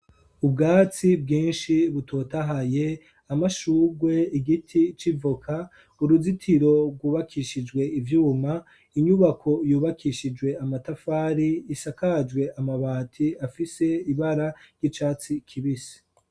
Ubwatsi bwinshi butotahaye, amashurwe, igiti c'ivoka, uruzitiro rwubakishijwe ivyuma, inyubako yubakishijwe amatafari isakajwe amabati afise ibara ry'icatsi kibisi.